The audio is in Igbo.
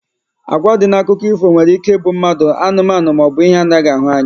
Agwa dị na akụkọ ifo nwere ike ịbụ mmadụ, anụmanụ maọbụ ihe anaghị ahụ anya